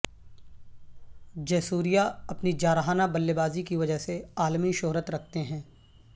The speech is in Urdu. جے سوریا اپنی جارحانہ بلے بازی کی وجہ سے عالمی شہرت رکھتے ہیں